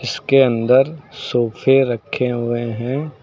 इसके अंदर सोफे रखे हुए हैं।